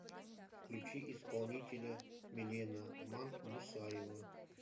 включи исполнителя милена мадмусаева